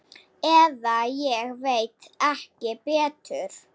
Eða ég veit ekki betur.